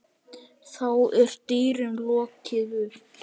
Þá er dyrum lokið upp.